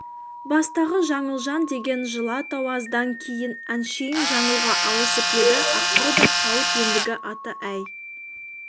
бастағы жаңылжан деген жылы атау аздан кейін әншейін жаңылға ауысып еді ақыры да қалып ендігі аты әй